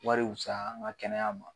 Wari wusaya an ga kɛnɛya ma